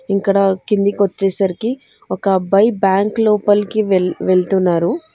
ఇక్కడ కిందికి వచ్చేసరికి ఒక అబ్బాయి బ్యాంకు లోపలికి వెళ్తున్నారు.